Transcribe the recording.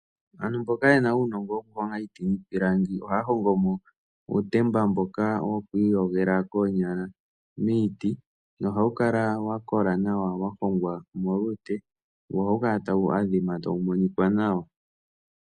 Aantu mboka ye na uunongo wokuhonga iiti niipilangi ohaya hongo mo uutemba mboka woku iyogela koonyala miiti nohawu kala wa kola nawa wa hongwa molute wo ohawu kala tawu adhima tawu monika nawa.